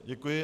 Děkuji.